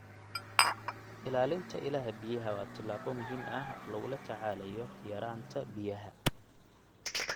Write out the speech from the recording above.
Ilaalinta ilaha biyaha waa tallaabo muhiim ah oo lagula tacaalayo yaraanta biyaha.